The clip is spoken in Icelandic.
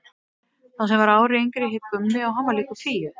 Sá sem var ári yngri hét Gummi og hann var líkur Fíu.